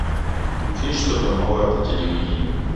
включи что то новое по телевидению